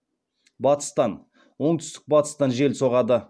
батыстан оңтүстік батыстан жел соғады